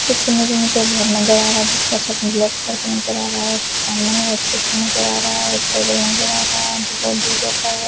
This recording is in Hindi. इस इमेज में मुझे एक घर नजर आ रहा है जिसका छत मतलब नजर आ रहा है सामने में एक शीशा नजर आ रहा है टेबल नजर आ रहा है जो बहुत दूर रखा हुआ --